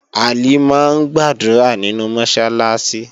Halimah ń gbàdúrà nínú Mọ́sálásí